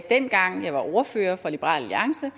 dengang jeg var ordfører for liberal alliance